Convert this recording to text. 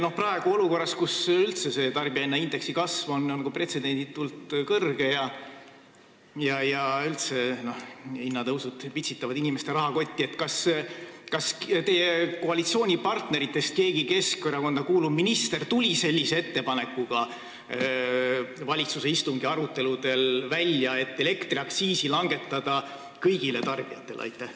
Kas praegu, olukorras, kus üldse tarbijahinnaindeksi kasv on pretsedenditult kõrge ja hinnatõusud pitsitavad inimeste rahakotti, tuli keegi Keskerakonda kuuluv minister, keegi teie koalitsioonipartneritest, sellise ettepanekuga valitsuse aruteludel välja, et langetada elektriaktsiisi kõigil tarbijatel?